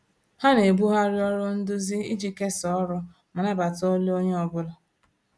Ha na-ebugharị ọrụ nduzi iji kesaa ọrụ ma nabata olu onye ọ bụla